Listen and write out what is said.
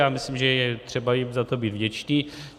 Já myslím, že je třeba jim za to být vděční.